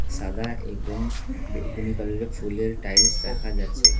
সাদা এবং বেগুনি কালারের ফুলের টাইলস দেখা যাচ্ছে।